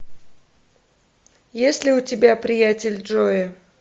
есть ли у тебя приятель джои